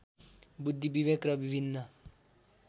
बुद्धि विवेक र विभिन्न